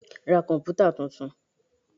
Ra komputa tuntun.